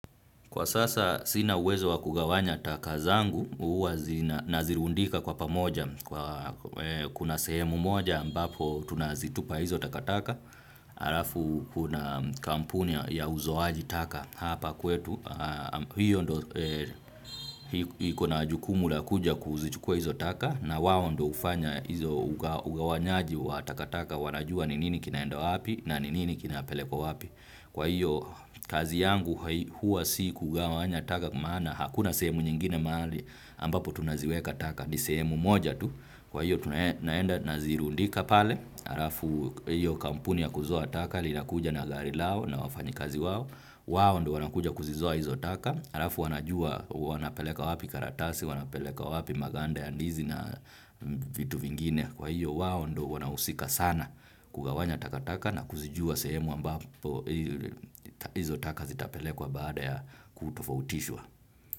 Kwa sasa sina uwezo wa kugawanya taka zangu, huwa zina nazirundika kwa pamoja, kuna sehemu moja ambapo tunazitupa hizo takataka, harafu kuna kampuni ya uzoaji taka hapa kwetu, hiyo ndo hiko na jukumu la kuja kuzichukua hizo taka, na wao ndo hufanya hizo ugawanyaji wa takataka wanajua ni nini kinaenda wapi na ni nini kinapelekwa wapi. Kwa hiyo kazi yangu huwa si kugawanya taka maana hakuna sehemu nyingine mahali ambapo tunaziweka taka ni sehemu moja tu. Kwa hiyo tunaenda nazirundika pale harafu hiyo kampuni ya kuzoa taka linakuja na gari lao na wafanyakazi wao. Wao ndo wanakuja kuzizoa hizo taka, harafu wanajua wanapeleka wapi karatasi, wanapeleka wapi maganda ya ndizi na vitu vingine. Kwa hiyo wao ndo wanahusika sana kugawanya takataka na kuzijua sehemu ambapo izo taka zitapelekwa baada ya kutofautishwa.